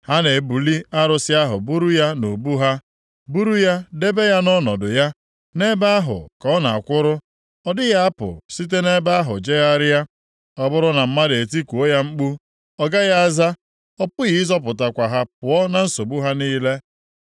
Ha na-ebuli arụsị ahụ buru ya nʼubu ha, buru ya debe ya nʼọnọdụ ya, nʼebe ahụ ka ọ na-akwụrụ. Ọ dịghị apụ site nʼebe ahụ jegharịa. Ọ bụrụ na mmadụ e tikuo ya mkpu, ọ gaghị aza, ọ pụghị ịzọpụtakwa ha pụọ na nsogbu ha niile.